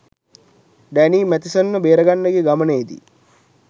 Danny Matheson ව බේරගන්න යන ගමනේදී